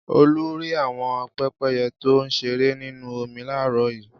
Olú rí àwọn pẹ́pẹ́yẹ tó ń ṣeré nínú omi láàárọ̀ yìí.